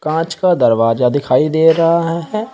कांच का दरवाजा दिखाई दे रहा है।